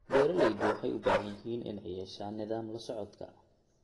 Beeraleydu waxay u baahan yihiin inay yeeshaan nidaam la socodka.